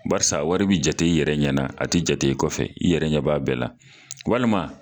Barisa wari bi jate i yɛrɛ ɲɛna, a ti jate i kɔfɛ, i yɛrɛ ɲɛ b'a bɛɛ la walima